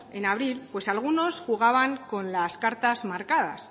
en abril algunos jugaban con las cartas marcadas